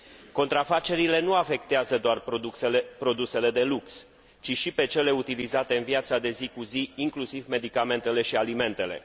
Contrafacerile nu afectează doar produsele de lux, ci și pe cele utilizate în viața de zi cu zi, inclusiv medicamentele și alimentele.